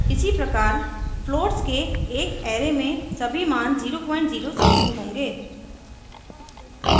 इसी प्रकार floats के एक array में सभी मान 00 से शुरू होंगे